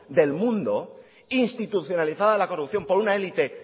del mundo institucionalizada la corrupción por una élite